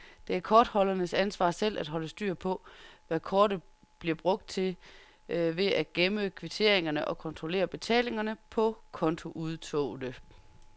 Det er kortholderens ansvar selv at holde styr på, hvad kortet bliver brugt til ved at gemme kvitteringer og kontrollere betalingerne på kontoudtogene.